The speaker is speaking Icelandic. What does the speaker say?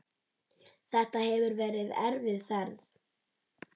Þetta hefur verið erfið ferð.